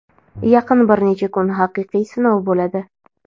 yaqin bir necha kun haqiqiy sinov bo‘ladi.